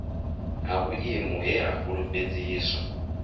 ha vhuimo he ha fhulufhedziswa